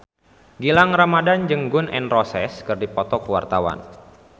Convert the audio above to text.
Gilang Ramadan jeung Gun N Roses keur dipoto ku wartawan